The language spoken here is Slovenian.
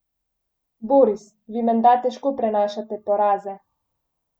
Boris, vi menda težko prenašate poraze.